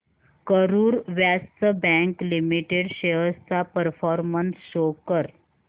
Karur Vysya bank limited shares चा performance show कर